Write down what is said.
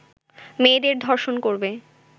মেয়েদের ধর্ষণ করবে